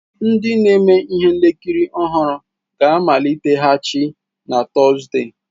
Ndi na-eme ihe nkiri ọhụrụ ga-amaliteghachi na Tọzdee.